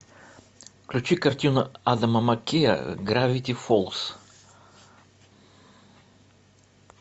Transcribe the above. включи картину адама маккея гравити фолз